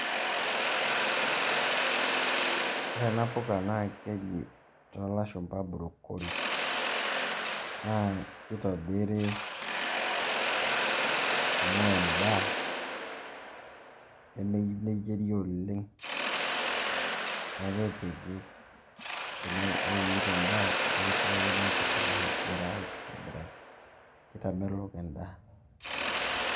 Ore ena puka naa keji toolashumba bruccoli naa kitobiri amu endaa nemeyieu neyieri oleng' , ore inyaita endaa nekipikani nkuti naayiara aitobiraki, kitamelok endaa.